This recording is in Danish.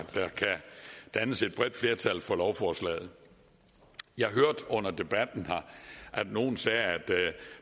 dannes et bredt flertal for lovforslaget jeg hørte under debatten her at nogle sagde at